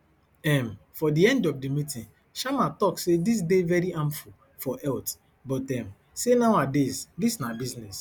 um for di end of di meeting sharma tok say dis dey very harmful for health but um say nowadays dis na business